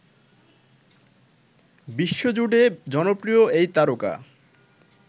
বিশ্বজুড়ে জনপ্রিয় এই তারকা